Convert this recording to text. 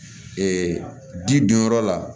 ji don yɔrɔ la